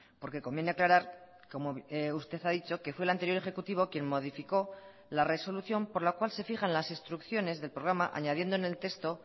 porque conviene aclarar como usted ha dicho que fue el anterior ejecutivo quien modificó la resolución por la cual se fijan las instrucciones del programa añadiendo en el texto